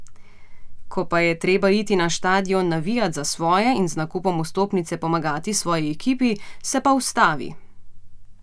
Ko pa je treba iti na štadion navijat za svoje in z nakupom vstopnice pomagati svoji ekipi, se pa ustavi.